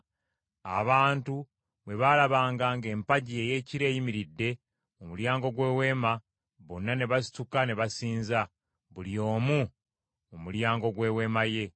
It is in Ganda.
Abantu bwe baalabanga ng’empagi ey’ekire eyimiridde mu mulyango gw’Eweema, bonna ne basituka ne basinza, buli omu mu mulyango gw’eweema ye.